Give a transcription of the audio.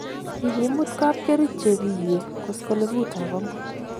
kikimut kapkerich chebiywe koskolengutab amut